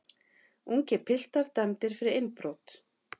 Ungir piltar dæmdir fyrir innbrot